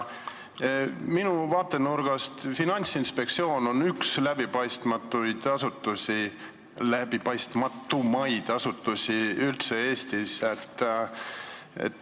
Minu vaatenurgast on Finantsinspektsioon üks läbipaistmatumaid asutusi Eestis üldse.